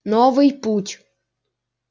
новый путь